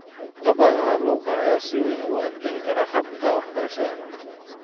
Caqabadaha luqadda ayaa si weyn u adkeyn kara habka waxbarashada.